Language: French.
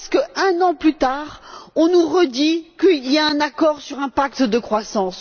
Pourquoi est ce que, un an plus tard, on nous redit qu'il y a un accord sur un pacte de croissance?